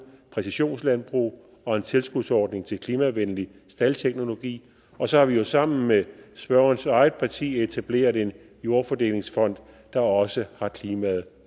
præcisionslandbrug og en tilskudsordning til klimavenlig staldteknologi og så har vi jo sammen med spørgerens eget parti etableret en jordfordelingsfond der også har klimaet